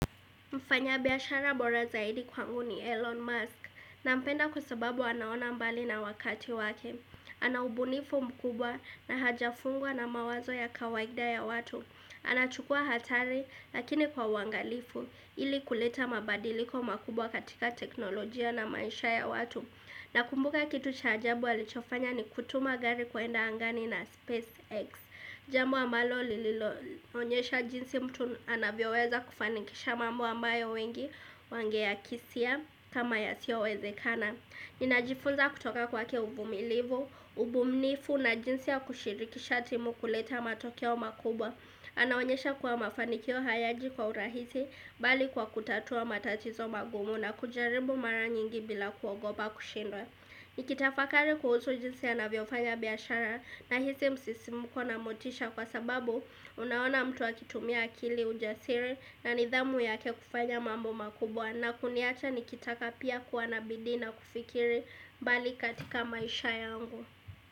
Mfanya biashara bora zaidi kwangu ni Elon Musk nampenda kwa sebabu anaona mbali na wakati wake. Ana ubunifu mkubwa na hajafungwa na mawazo ya kawaida ya watu. Anachukua hatari lakini kwa uwangalifu ili kuleta mabadiliko makubwa katika teknolojia na maisha ya watu. Na kumbuka kitu cha ajabu alichofanya ni kutuma gari kuenda angani na SpaceX. Jambo ambalo lililo onyesha jinsi mtu anavyo weza kufanikisha mambo ambayo wengi wangeakisia kama yasiyowezekana Ninajifunza kutoka kwake uvumilivu, ubumnifu na jinsi ya kushirikisha timu kuleta matokeo makubwa Anaonyesha kuwa mafanikio hayaji kwa urahisi bali kwa kutatua matatizo magumu na kujaribu mara nyingi bila kuogopa kushindwa Nikitafakari kuhusu jinsi anavyo fanya biyashara nahisi msisimko na motisha kwa sababu Unaona mtu akitumia akili ujasiri na nidhamu yake kufanya mambo makubwa na kuniacha nikitaka pia kuwa na bidii na kufikiri mbali katika maisha yangu.